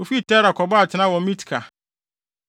Wofii Tera kɔbɔɔ atenae wɔ Mitka.